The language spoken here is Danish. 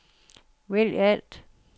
vælg alt